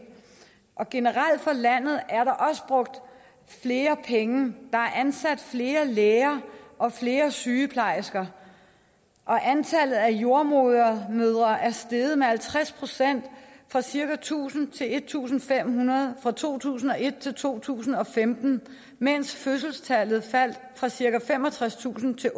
generelt for landet er der også brugt flere penge der er ansat flere læger og flere sygeplejersker og antallet af jordemødre er steget med halvtreds procent fra cirka tusind til en tusind fem hundrede fra to tusind og et til to tusind og femten mens fødselstallet faldt fra cirka femogtredstusind til